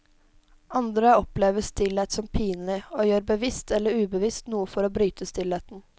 Andre opplever stillhet som pinlig, og gjør bevisst eller ubevisst noe for å bryte stillheten.